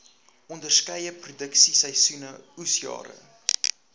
onderskeie produksieseisoene oesjare